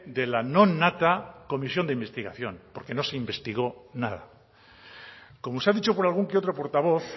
de la no nata de la comisión de investigación porque no se investigó nada como se ha dicho por algún que otro portavoz